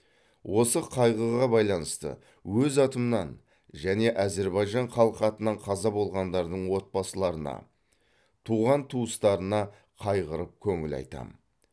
осы қайғыға байланысты өз атымнан және азербайжан халқы атынан қаза болғандардың отбасыларына туған туыстарына қайғырып көңіл айтам